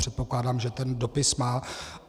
Předpokládám, že ten dopis má.